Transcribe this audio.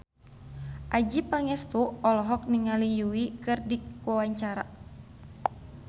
Adjie Pangestu olohok ningali Yui keur diwawancara